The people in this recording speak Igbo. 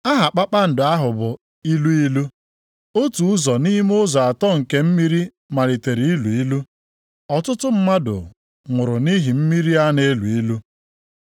Aha kpakpando ahụ bụ Ilu ilu. Otu ụzọ nʼime ụzọ atọ nke mmiri malitere ilu ilu, ọtụtụ mmadụ nwụrụ nʼihi mmiri a na-elu ilu.